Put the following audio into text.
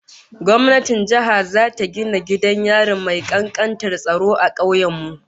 Gwamnatin jiha zata gina gidan yari mai kankantar tsaro a kauyen mu